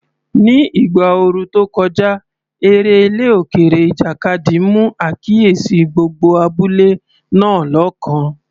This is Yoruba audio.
Ní ìgbà ooru tó kọjá, eré ilẹ̀ òkèèrè, ìjàkadì, mú àkíyèsí gbogbo abúlé náà lọ́kàn.